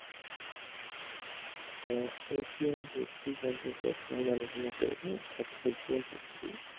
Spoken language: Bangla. আহ এশিয়ান History সম্পর্কে আজকে আমরা আলোচনা করবো অর্থাৎ এশিয়ান history